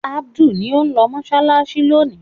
Adu ni ó ń lọ mọṣáláṣí lónìí.